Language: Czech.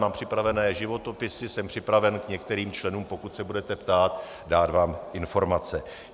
Mám připravené životopisy, jsem připraven k některým členům, pokud se budete ptát, vám dát informace.